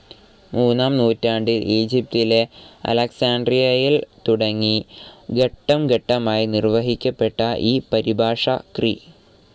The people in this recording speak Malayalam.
മൂന്നാം നൂറ്റാണ്ടിൽ ഈജിപ്തിലെ അലക്‌സാൻഡ്രിയയിൽ തുടങ്ങി ഘട്ടം ഘട്ടമായി നിർവഹിക്കപ്പെട്ട ഈ പരിഭാഷ ക്രി.